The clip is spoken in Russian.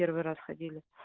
первый раз ходил